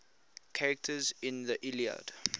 characters in the iliad